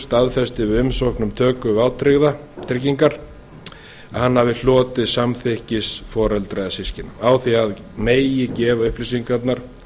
staðfesti með umsóknum töku vátryggingar að hann hafi hlotið samþykki foreldra eða systkina á því að að megi gefa upplýsingarnar